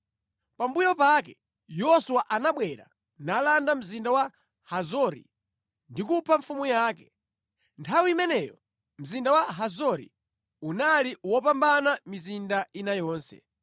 Pambuyo pake Yoswa anabwera nalanda mzinda wa Hazori ndi kupha mfumu yake. (Nthawi imeneyo mzinda wa Hazori unali wopambana mizinda ina yonse).